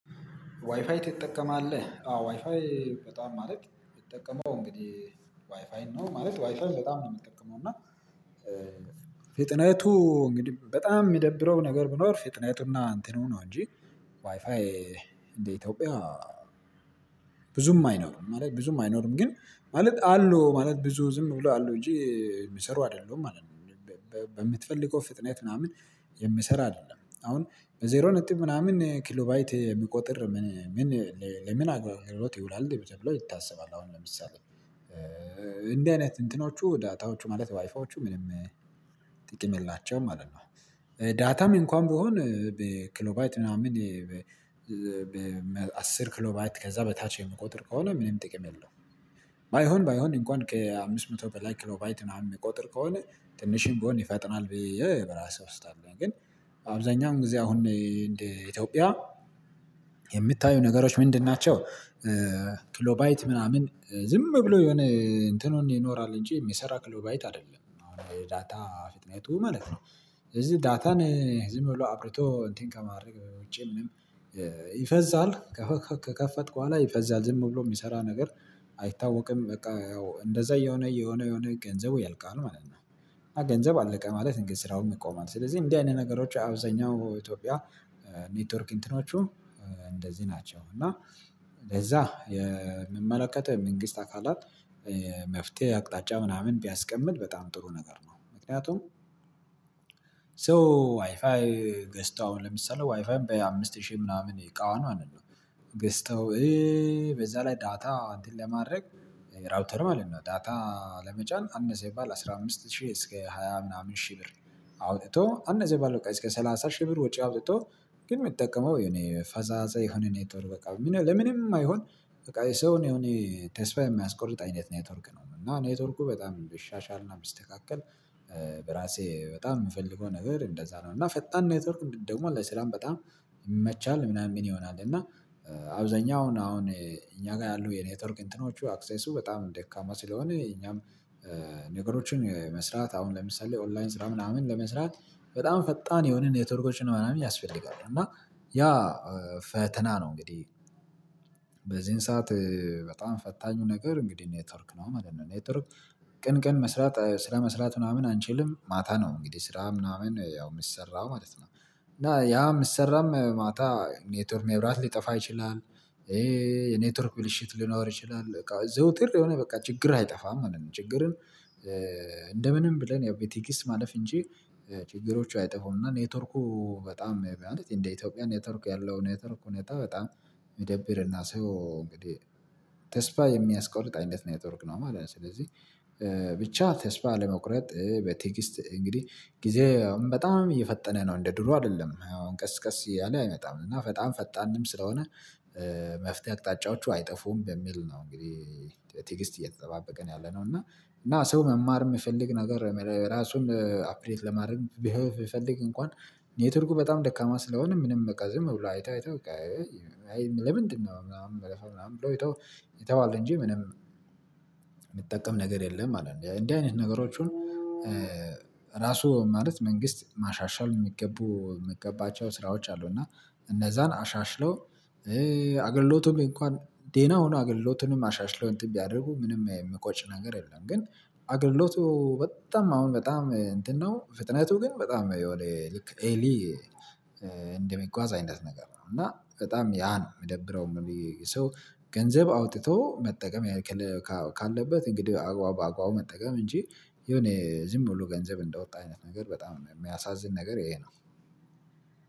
ዋይፋይ ትጠቀማለህ አዎ ዋይፋይ በጣም ማለት የሚጠቀመው እንግዲህ ዋይፋይ ነው ማለት ዋይፋይ በጣም ነው የምትጠቀመው እና ፊትነቱ እንግዲህ በጣም የሚደብረው ነገር ቢኖር ፍጥነትና አንተኑ ነው እንጂ ዋይፋይ እንደ ኢትዮጵያ ብዙም አይኖርም ብዙም አይኖርም ግን ማለት አሉ ማለት ብዙ ዝምብሎ አሉ እንጂ የሚሰሩ አይደለሁም ማለት ነው። በምትፈልገው ፍጥነት ምናምን የምሰራ አይደለም አሁን በዜሮ ነጥብ ምናምን ኪሎባይት የሚቆጥር ምን ለምን አግባብ አጉሎት ይውላል እንዴ ተብሎ ይታሰባል? አሁን ለምሳሌ እንዲህ አይነት እንትኖቹ ዳታዎቹ ማለት ዋይፋዎቹ ምንም ጥቅም የለላቸውም ማለት ነው። ዳታም እንኳን ብሆን በክሎባይት ምናምን አስር ክሎባት ከዛ በታች የምቆጥር ከሆነ ምንም ጥቅም የለውም። ባይሆን ባይሆን እንኳን ከአምስት መቶ በላይ ክሎባይት ምናምን የሚቆጥር ከሆነ ትንሽም ብሆን ይፈጥናል ብዬ በራሴ ውስጥ አለኝ። ግን አብዛኛውን ጊዜ አሁን ኢትዮጵያ የምታዩ ነገሮች ምንድን ናቸው? ክሎባይት ምናምን ዝም ብሎ የሆነ እንትኑን ይኖራል እንጂ የሚሰራ ክሎባይት አይደለም አሁን የዳታ ፍጥነቱ ማለት ነው። እዚህ ዳታን ዝም ብሎ አብርቶ እንትን ከማድረግ ውጪ ምንም ይፈዛል ከከፈትኩ በኋላ ይፈዛል ዝም ብሎ የሚሰራ ነገር አይታወቅም በቃ ያው እንደዛ የሆነ እየሆነ የሆነ ገንዘቡ ያልቃሉ ማለት ነው። ገንዘብ አለቀ ማለት እንግዲህ ስራውም ይቆማል ስለዚህ እንዲህ አይነት ነገሮች አብዛኛው ኢትዮጵያ ኔትወርክ እንትኖቹ እንደዚህ ናቸው እና ለዛ የሚመለከተው የመንግስት አካላት መፍትሄ አቅጣጫ ምናምን ቢያስቀምጥ በጣም ጥሩ ነገር ነው። ምክንያቱም ሰው ዋይፋይ ገዝተው አሁን ለምሳሌ ዋይፋይም በአምስት ሺህ ምናምን እቃዋን ማለት ነው። ገዝተው በዛ ላይ ዳታ እንትን ለማድረግ ራውተር ማለት ነው ዳታ ለመጨመር አንድ ሰው ባል አስራ አምስት ሺህ እስከ ሃያ ምናምን ሺህ ብር አውጥቶ አንድ እዚህ ባለው ቀን እስከ ሰላሳ ሺህ ብር ወጪ አውጥቶ ግን ምጠቀመው የሆነ ፈዛዛ የሆነ ነገር በቃ ለምንም የማይሆን በቃ የሰውን የሆነ ተስፋ የሚያስቆርጥ አይነት ኔትወርክ ነው። እና ኔትወርኩ በጣም ቢሻሻልና ቢስተካከል በራሴ በጣም ምፈልገው ነገር እንደዛ ነው። እና ፈጣን ኔትወርክ ደግሞ ለስራም በጣም ይመቻል ምናምን ምን ይሆናል እና አብዛኛው አሁን አሁን እኛ ጋር ያሉ የኔትወርክ እንትኖቹ አክሰሱ በጣም ደካማ ስለሆነ እኛም ነገሮችን መስራት አሁን ለምሳሌ ኦንላይን ስራ ምናምን ለመስራት በጣም ፈጣን የሆነ የተወርኮችን ምናምን ያስፈልጋል። እና ያ ፈተና ነው እንግዲህ በዚህን ሰዓት በጣም ፈታኙ ነገር እንግዲህ ኔትወርክ ነው ማለት ነው። ኔትወርክ ቀን ቀን መስራት ስራ መስራት ምናምን አንችልም ማታ ነው እንግዲህ ስራ ምናምን ያው የሚሰራው ማለት ነው እና ያ ሚሰራም ማታ ኔቶርክ መብራት ሊጠፋ ይችላል። የኔትወርክ ብልሽት ሊኖር ይችላል ዘውትር የሆነ በቃ ችግር አይጠፋም ማለት ነው። ችግርን እንደ ምንም ብለን ያው በትግስት ማለፍ እንጂ ችግሮቹ አይጠፉም እና ኔትወርኩ በጣም ማለት እንደ ኢትዮጵያ ኔትወርኩ ያለው ኔትወርኩ ሁኔታ በጣም ሚደብረ ና ሰው እንግዲህ ተስፋ የሚያስቆርጥ አይነት ኔቶርክ ነው ማለት ነው። ስለዚህ ብቻ ተስፋ አለመቁረጥ በትግስት እንግዲህ ጊዜ በጣም እየፈጠነ ነው እንደ ድሮ አይደለም አሁን ቀስ ቀስ ያለ አይመጣም እና በጣም ፈጣንም ስለሆነ መፍትሄ አቅጣጫዎቹ አይጠፉም በሚል ነው። እንግዲህ በትግስት እየተጠባበቀ ነው ያለነው እና እና ሰው መማር ምፈልግ ነገር ራሱን አፕዴት ለማድረግ ቢፈ ቢፈልግ እንኳን ኔትወርኩ በጣም ደካማ ስለሆነ ምንም በቃ ዝም ብሎ አይቶ አይቶ ለምንድነው ምናምን በለፋ ምናምን ብሎ ይተዋል እንጂ ምንም ምትጠቀም ነገር የለም። ማለት እንደዚህ አይነት ነገሮችን ራሱ ማለት መንግስት ማሻሻል የሚገቡ የሚገባቸው ስራዎች አሉ እና እነዛን አሻሽሎ አገልሎቱን እንኳን ዴና ሆኖ አገልሎቱንም አሻሽለው እንትን ቢያደርጉ ምንም ሚቆጭ ነገር የለም። ግን አገልግሎቱ በጣም አሁን በጣም እንትን ነው ፍጥነቱ ግን በጣም የሆነ ልክ ኤሊ እንደሚጓዝ አይነት ነገር ነው። እና በጣም ያ ነው ሚደብረው ሰው ገንዘብ አውጥቶ መጠቀም ካለበት እንግዲህ በአግባቡ መጠቀም እንጂ የሆነ ዝም ብሎ ገንዘብ እንደወጣ አይነት ነገር በጣም የሚያሳዝን ነገር ይሄ ነው።